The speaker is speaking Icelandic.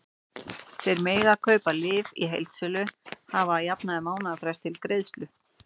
Þeir sem mega kaupa lyf í heildsölu hafa að jafnaði mánaðarfrest til greiðslu.